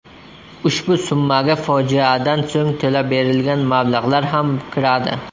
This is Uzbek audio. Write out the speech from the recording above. Ushbu summaga fojiadan so‘ng to‘lab berilgan mablag‘lar ham kiradi.